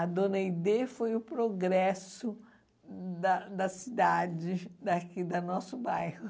A dona Aide foi o progresso da da cidade, daqui da nosso bairro.